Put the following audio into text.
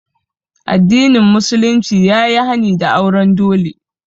Addinin musulunci ya yi hani da auren dole